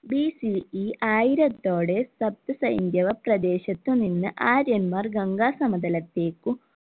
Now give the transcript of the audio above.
BCE ആയിരത്തോടെ സപ്തസ ഹൈന്ദവ പ്രദേശത്തു നിന്ന് ആര്യന്മാർ ഗംഗാ സമതലത്തേക്കും